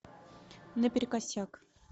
наперекосяк